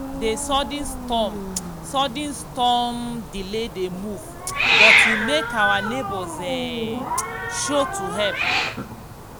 the sudden storm sudden storm um delay the move but e make our neighbors um show to help.